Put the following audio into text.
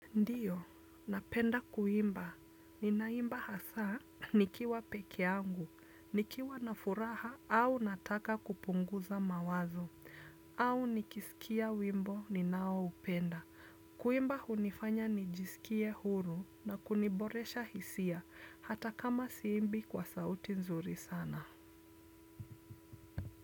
Ndiyo, napenda kuimba. Ninaimba hasa nikiwa peke angu, nikiwa nafuraha au nataka kupunguza mawazo, au nikisikia wimbo ninawo upenda. Kuimba unifanya nijisikie huru na kuniboresha hisia hata kama siimbi kwa sauti nzuri sana.